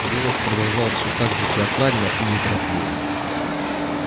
голос продолжал все так же театрально и неторопливо